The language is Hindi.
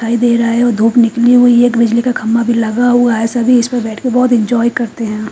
दिखाई दे रहा है और धूप निकली हुई है एक बिजली का खंबा भी लगा हुआ है सभी इस पे बैठके बहोत एन्जॉय करते हैं।